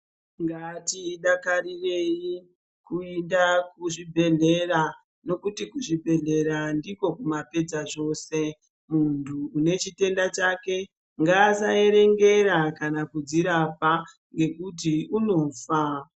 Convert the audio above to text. Ngatidakarirei kuenda kuzvibhedhlera ngekuti ndiko kumapedza zvose muntu une chitenda chake ngasaerengera kana kudzirapa ngekuti unofa.